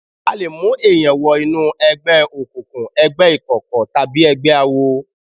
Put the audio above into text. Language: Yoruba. A lè mú èèyàn wọ inú ẹgbẹ́ òkùnkùn, ẹgbẹ́ ìkọ̀kọ̀ tàbí ẹgbẹ́ awo